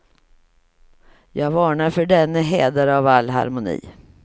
Jag varnar för denne hädare av all harmoni.